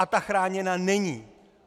A ta chráněna není.